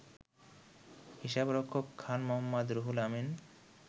হিসাবরক্ষক Khan Mohammad Ruhul Amin